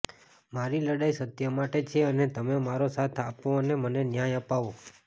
મારી લડાઈ સત્ય માટે છે અને તમે મારો સાથ આપો અને મને ન્યાય અપાવો